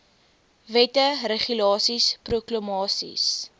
wette regulasies proklamasies